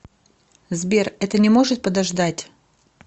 сбер это не может подождать